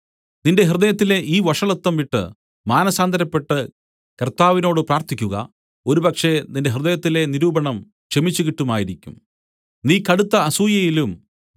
നിന്റെ ഹൃദയത്തിലെ ഈ വഷളത്വം വിട്ട് മാനസാന്തരപ്പെട്ട് കർത്താവിനോട് പ്രാർത്ഥിക്കുക ഒരുപക്ഷേ നിന്റെ ഹൃദയത്തിലെ നിരൂപണം ക്ഷമിച്ചുകിട്ടുമായിരിക്കും